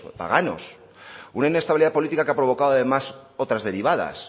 paganos una inestabilidad política que ha provocado además otras derivadas